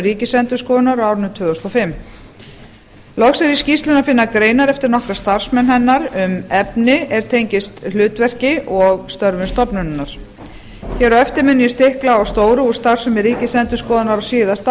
ríkisendurskoðunar á árinu tvö þúsund og fimm loks er í skýrslunni að finna greinar eftir nokkra starfsmenn hennar um efni er tengist hlutverki og störfum stofnunarinnar hér á eftir mun ég stikla á stóru úr starfsemi ríkisendurskoðunar á síðasta